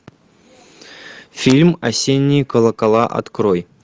фильм осенние колокола открой